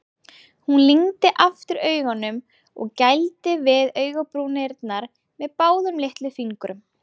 Hún lygndi aftur augunum og gældi við augabrúnirnar með báðum litlufingrum.